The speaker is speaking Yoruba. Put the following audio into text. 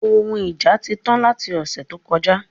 Òhun ija ti tán lati ọ̀sẹ̀ tó kọjá